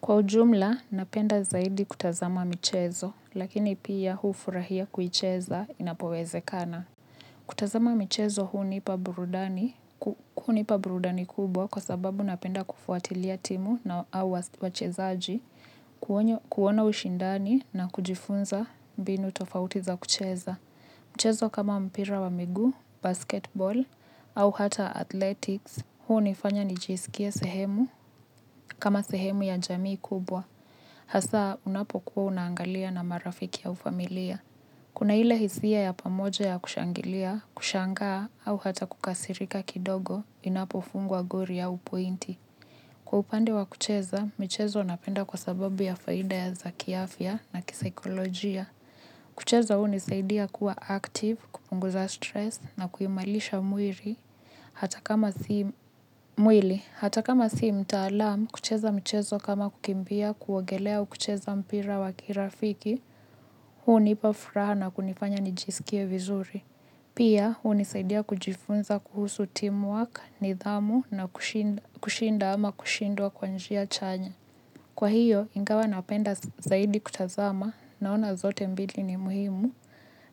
Kwa ujumla, napenda zaidi kutazama michezo, lakini pia hufurahia kuicheza inapowezekana. Kutazama michezo hunipa burudani kubwa kwa sababu napenda kufuatilia timu au wachezaji, kuona ushindani na kujifunza mbinu tofauti za kucheza. Mchezo kama mpira wa miguu, basketball au hata athletics hunifanya nijisikie sehemu kama sehemu ya jamii kubwa. Hasa unapokuwa unaangalia na marafiki au familia. Kuna ile hisia ya pamoja ya kushangilia, kushangaa au hata kukasirika kidogo inapofungwa goli au pointi. Kwa upande wa kucheza, michezo napenda kwa sababu ya faida ya za kiafya na kisaikolojia. Kucheza hunisaidia kuwa active, kupunguza stress na kuimarisha mwili, hata kama si mtaalam, kucheza mchezo kama kukimbia kuogelea au kucheza mpira wa kirafiki, hunipa furaha na kunifanya nijisikie vizuri. Pia, hunisaidia kujifunza kuhusu teamwork, nidhamu na kushinda ama kushindwa kwa njia chanya. Kwa hiyo, ingawa napenda zaidi kutazama naona zote mbili ni muhimu